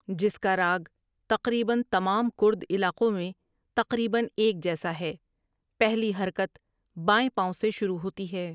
جس کا راگ تقریبا تمام کرد علاقوں میں تقریبا ایک جیسا ہے پہلی حرکت بائیں پاؤں سے شروع ہوتی ہے ۔